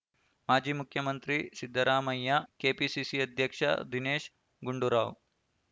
ಮಾಜಿ ಮುಖ್ಯಮಂತ್ರಿ ಸಿದ್ದರಾಮಯ್ಯ ಕೆಪಿಸಿಸಿ ಅಧ್ಯಕ್ಷ ದಿನೇಶ್ ಗುಂಡೂರಾವ್